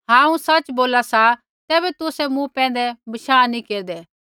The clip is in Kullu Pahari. हांऊँ सच़ बोला सा तैबै तुसै मूँ पैंधै बशाह नी केरदै